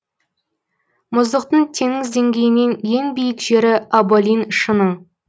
мұздықтың теңіз деңгейінен ең биік жері аболин шыңы